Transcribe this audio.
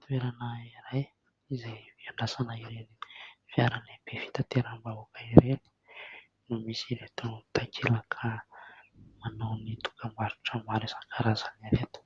Toerana iray izay hiandrasana ireny fiara lehibe fitateram-bahoaka ireny no misy ireto takelaka manao ny dokam-barotra maro isan-karazany ireto,